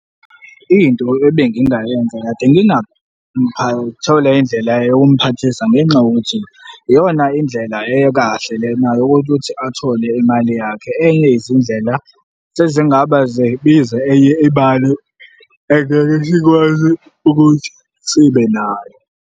Into ebengingayenza kade indlela yokumphathisa ngenxa yokuthi iyona indlela ekahle lena yokuthi athole imali yakhe, enyeyezindlela sezingaba zibiza enye imali engeke sikwazi ukuthi sibe nayo.